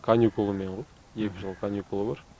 каникулымен ғой екі жыл каникулы бар